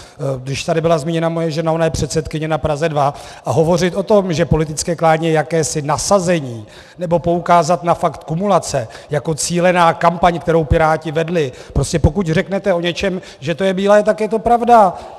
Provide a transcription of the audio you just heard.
Když tady byla zmíněna moje žena, ona je předsedkyně na Praze 2, a hovořit o tom, že politické klání je jakési nasazení, nebo poukázat na fakt kumulace jako cílenou kampaň, kterou Piráti vedli - prostě pokud řeknete o něčem, že to je bílé, tak je to pravda.